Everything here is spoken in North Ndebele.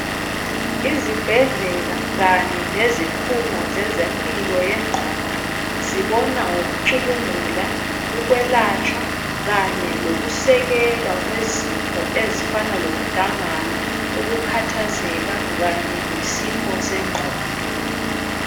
Izibhedlela kanye lezikhungo zezempilo yengqondo zibona ngokucubungula ukwelatshwa kanye lokusekelwa kwezifo ezifana lokudangala ukhathazeka kanye lesifo sengqondo.